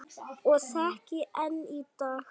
Og þekki enn í dag.